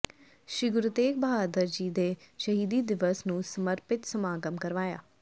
ਸ੍ਰੀ ਗੁਰੂ ਤੇਗ਼ ਬਹਾਦਰ ਜੀ ਦੇ ਸ਼ਹੀਦੀ ਦਿਵਸ ਨੂੰ ਸਮਰਪਿਤ ਸਮਾਗਮ ਕਰਵਾਇਆ